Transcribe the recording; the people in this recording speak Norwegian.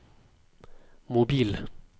mobil